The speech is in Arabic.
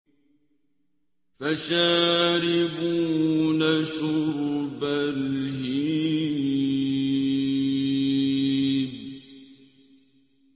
فَشَارِبُونَ شُرْبَ الْهِيمِ